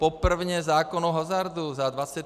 Poprvé zákon o hazardu za 25 let!